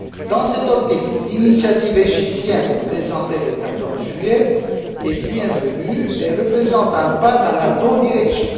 Dans cette optique, l'initiative égyptienne présentée le 14 juillet est bienvenue et représente un pas dans la bonne direction.